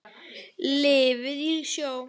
Lifði í sjó.